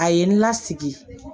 A ye n lasigi